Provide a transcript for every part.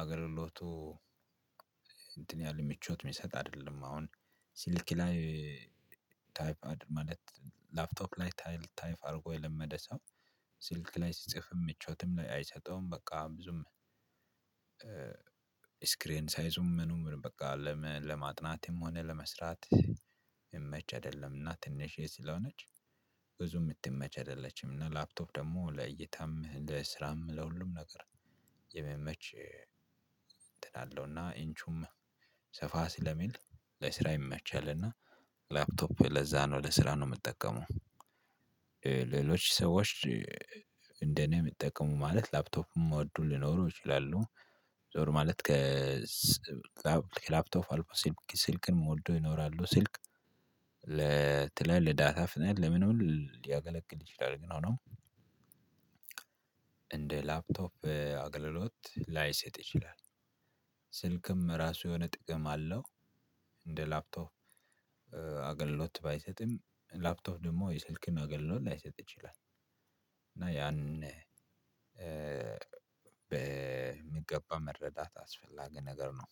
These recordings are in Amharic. አገልግሎቱ እንትን ያሉ ምቾት የሚሰጥ አይደለም። አሁን ስልክ ላይ ታይፕ ማለት ላፕቶፕ ላይ ታይፕ አድርጎ የለመደ ሰው ስልክ ላይ ሲጽፍም ምቾትም አይሰጠውም። በቃ ብዙም ስክሪን ሳይዙም ምኑም በቃ። ለማጥናትም ሆነ ለመስራት የሚመች አይደለምና ትንሽዬ ስለሆነች ብዙ የምትመች አይደለችም። እና ላፕቶፕ ደግሞ ለእይታም ለስራም ለሁሉም ነገር የሚመች እንትን አለውና ኢንቹም ሰፋ ስለሚል ለስራ ይመቻልና ላፕቶፕ ለዛ ነው ለስራ ነው የምጠቀመው። ሌሎች ሰዎች እንደኔ የሚጠቀሙ ማለት ላፕቶፕም ሚወዱ ሊኖሩ ይችላሉ። ዞር ማለት ከ ላፕቶፍ አልፎ ስልክን የሚወዱ ይኖራሉ። ስልክ ለትላል ለዳታ ፍጥነት ለምን ሊያገለግል ይችላል? ግን ሆኖም እንደ ላፕቶፕ አገልግሎት ላይሰጥ ይችላል። ስልክም ራሱ የሆነ ጥቅም አለው። እንደ ላፕቶፕ አገልሎት ባይሰጥም ላፕቶፕ ደግሞ የስልክን አገልግሎት ላይሰጥ ይችላል። እና ያንን በሚገባ መረዳት አስፈላጊ ነገር ነው።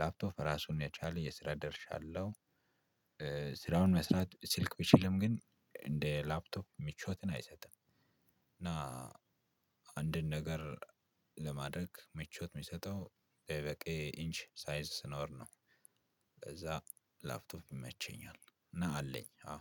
ላፕቶፕ ራሱን የቻለ የስራ ደርሻለሁ። ስራውን መስራት ስልክ ቢችልም ግን እንደ ላፕቶፕ ምችቾትን አይሰጥም። እና አንድን ነገር ለማድረግ ምቾት የሚሰጠው በቂ ኢንች ሳይዝ ሲኖር ነው። ከዛ ላፕቶፕ ይመቸኛል እና አለኝ አዎ።